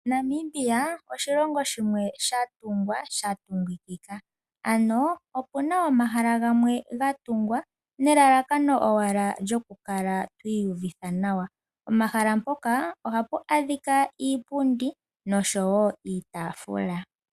Namibia oshilongo shimwe sha tungwa sha tungikika ano opuna omahala gamwe ga tungwa nelalakano owala lyokukala twiiyuvitha nawa, pomahala mpoka ohapu adhika iipundi noshowo iitafula.